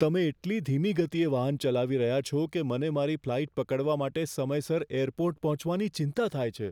તમે એટલી ધીમી ગતિએ વાહન ચલાવી રહ્યા છો કે મને મારી ફ્લાઈટ પકડવા માટે સમયસર એરપોર્ટ પહોંચવાની ચિંતા થાય છે.